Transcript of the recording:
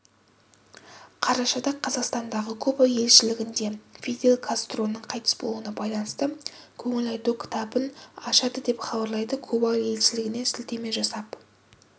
қарашада қазақстандағы куба елшілігінде фидель кастроның қайтыс болуына байланысты көңіл айту кітабын ашады деп хабарлайды куба елшілігіне сілтеме жасап